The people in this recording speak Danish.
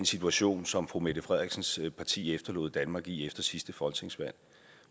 situation som fru mette frederiksens parti efterlod danmark i efter sidste folketingsvalg